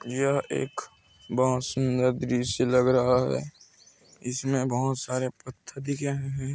यह एक बहोत सुंदर दृश्य लग रहा है। इसमे बोहोत सारे पथर दिख रहे है।